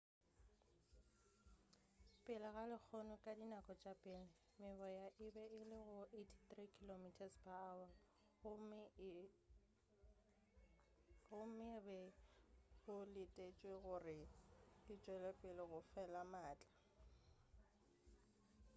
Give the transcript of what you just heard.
pele ga lehono ka dinako tša pele meboya e be e le go 83 km/h gomme go be go letetšwe gore e tšwelepele go fela maatla